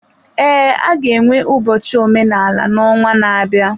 Ee, a ga-enwe ụbọchị omenala n'ọnwa na-abịa.